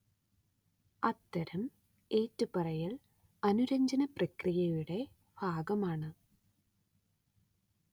അത്തരം ഏറ്റുപറയൽ അനുരഞ്ജനപ്രക്രിയയുടെ ഭാഗമാണ്